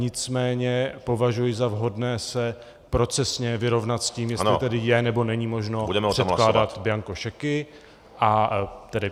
Nicméně považuji za vhodné se procesně vyrovnat s tím, jestli tedy je, nebo není možno předkládat bianko šeky.